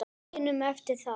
hinum eftir það.